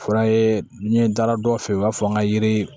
O fana ye n ye n taara dɔ fɛ yen u b'a fɔ an ka yiri